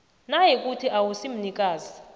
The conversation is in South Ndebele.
nayikuthi awusi mnikazi